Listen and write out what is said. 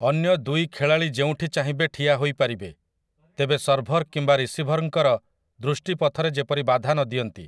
ଅନ୍ୟ ଦୁଇ ଖେଳାଳି ଯେଉଁଠି ଚାହିଁବେ ଠିଆ ହୋଇପାରିବେ, ତେବେ ସର୍ଭର୍ କିମ୍ବା ରିସିଭର୍‌ଙ୍କର ଦୃଷ୍ଟି ପଥରେ ଯେପରି ବାଧା ନଦିଅନ୍ତି ।